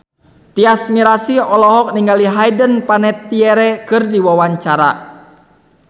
Tyas Mirasih olohok ningali Hayden Panettiere keur diwawancara